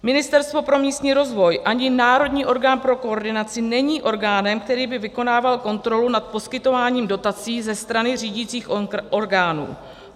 Ministerstvo pro místní rozvoj ani národní orgán pro koordinaci není orgánem, který by vykonával kontrolu nad poskytováním dotací ze strany řídicích orgánů.